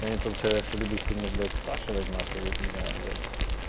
я не тот человек что любит сильно блядь спрашивать нахуй и вот не знаю бля